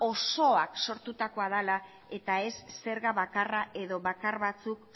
osoak sortutakoa dela eta ez zerga bakarra edo bakar batzuk